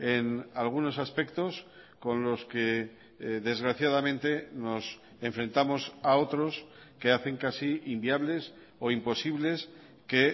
en algunos aspectos con los que desgraciadamente nos enfrentamos a otros que hacen casi inviables o imposibles que